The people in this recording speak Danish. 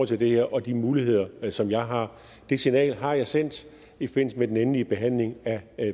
til det her og de muligheder som jeg har det signal har jeg sendt i forbindelse med den endelige behandling af